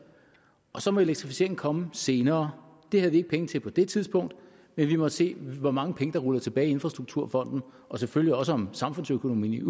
og så må elektrificeringen komme senere det havde vi ikke penge til på det tidspunkt men vi måtte se hvor mange penge der rullede tilbage i infrastrukturfonden og selvfølgelig også om samfundsøkonomien